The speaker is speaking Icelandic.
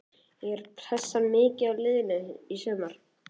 Er pressan mikil á liðinu í sumar?